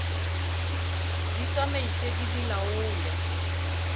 di tsamaise di di laole